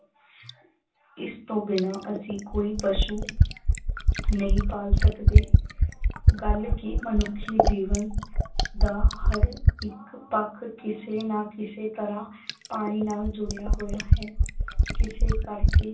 ਇਸ ਤੋਂ ਬਿਨਾਂ ਅਸੀਂ ਕੋਈ ਪਸ਼ੂ ਨਹੀਂ ਪਾਲ ਸਕਦੇ ਗੱਲ ਕਿ ਮਨੁੱਖੀ ਜੀਵਨ ਦਾ ਹਰ ਇੱਕ ਪੱਖ ਕਿਸੇ ਨਾ ਕਿਸੇ ਤਰ੍ਹਾਂ ਪਾਣੀ ਨਾਲ ਜੁੜਿਆ ਹੋਇਆ ਹੈ ਇਸੇ ਕਰਕੇ